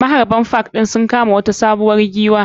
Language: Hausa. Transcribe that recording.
Maharɓan park ɗi sun kama wata sabuwar giwwa.